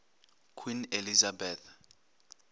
queen elizabeth